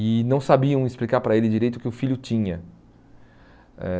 E não sabiam explicar para ele direito o que o filho tinha. Eh